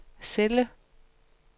celle